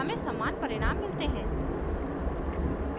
हमें समान परिणाम मिलते हैं